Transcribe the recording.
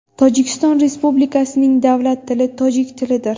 Tojikiston Respublikasining davlat tili tojik tilidir.